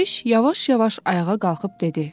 Dərviş yavaş-yavaş ayağa qalxıb dedi: